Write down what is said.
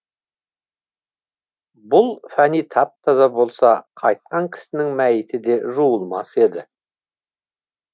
бұл фәни тап таза болса қайтқан кісінің мәйіті де жуылмас еді